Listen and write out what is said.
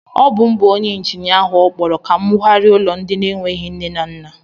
Ọ bu m bu onyé injinia áhù okpọrọ ka m wụgharia ụlọ ndị n'enweghị nne na nna